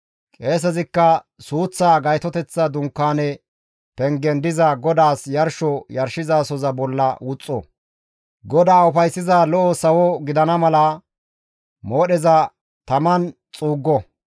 Qeesezikka suuththaa Gaytoteththa Dunkaane pengen diza GODAAS yarsho yarshizasoza bolla wuxxo; GODAA ufayssiza lo7o sawo gidana mala moodheza taman xuuggo.